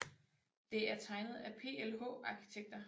Det er tegnet af PLH Arkitekter